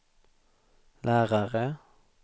lärare